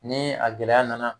Ni a gɛlɛya nana